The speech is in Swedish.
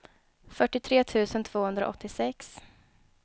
fyrtiotre tusen tvåhundraåttiosex